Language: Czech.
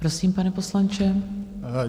Prosím, pane poslanče.